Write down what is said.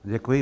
Děkuji.